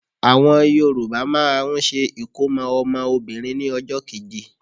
Àwọn Yorùbá máà ń ṣe ìkómọ́ ọmọ Obìnrin ní ọjọ́ keje.